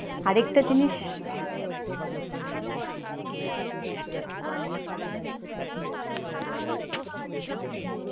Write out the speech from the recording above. আর একটা জিনিস,